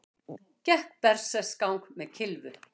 Gekk berserksgang með kylfu